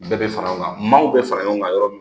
Bɛɛ bɛ fara ɲɔgɔn kan maaw bɛ fara ɲɔgɔn kan yɔrɔ min